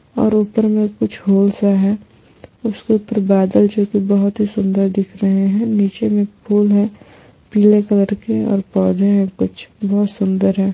और ऊपर मैं कुछ होल सा हैं उसके ऊपर बादल जो की बहुत ही सुन्दर दिख रहे हैं निचे मे फूल हैं पिले कलर के और पौधे हैं कुछ बहुत सुन्दर हैं।